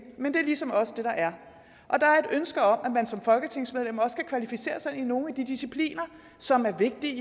men det er ligesom også det der er og som folketingsmedlem også kan kvalificere sig i nogle af de discipliner som er vigtige